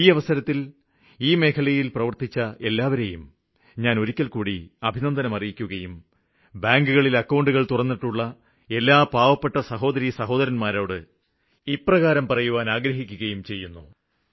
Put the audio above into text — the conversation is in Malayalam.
ഈ അവസരത്തില് ഒരിക്കല്ക്കൂടി ഞാന് അഭിനന്ദനം അറിയിക്കുകയും ബാങ്കുകളില് അക്കൌണ്ടുകള് തുറന്നിട്ടുള്ള എല്ലാ പാവപ്പെട്ട സഹോദരിസഹോദരന്മാരോട് ഇപ്രകാരം പറയുവാന് ആഗ്രഹിക്കുകയും ചെയ്യുന്നു